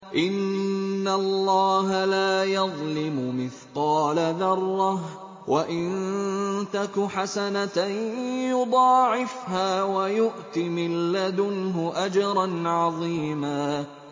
إِنَّ اللَّهَ لَا يَظْلِمُ مِثْقَالَ ذَرَّةٍ ۖ وَإِن تَكُ حَسَنَةً يُضَاعِفْهَا وَيُؤْتِ مِن لَّدُنْهُ أَجْرًا عَظِيمًا